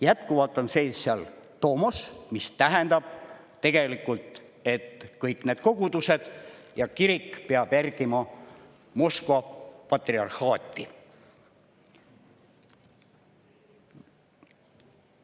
Jätkuvalt on seal sees tomos, mis tähendab tegelikult, et kõik need kogudused ja see kirik peavad järgima Moskva patriarhaati.